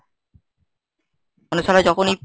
মানে শালা যখনই